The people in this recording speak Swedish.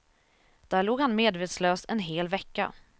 Där låg han medvetslös en hel vecka.